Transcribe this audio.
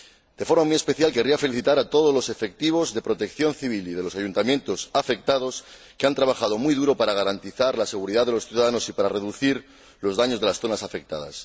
De forma muy especial querría felicitar a todos los efectivos de protección civil y de los ayuntamientos afectados, que han trabajado muy duro para garantizar la seguridad de los ciudadanos y para reducir los daños de las zonas afectadas.